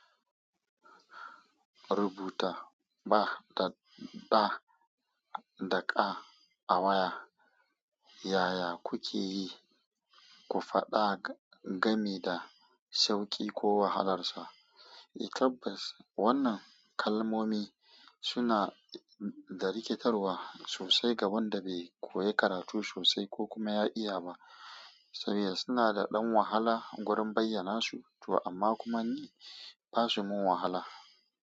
Rubuta ba da ɗa da ƙa a waya. Yaya kuke yi ku faɗa game da sauƙi ko wahalar sa? I tabbas wannan kalmomi suna da rikitarwa sosai ga wanda bai koya karatu sosai ko kuma ya iya ba, saboda suna da ɗan wahala wurin bayyana su, amma kuma ni ba su min wahala.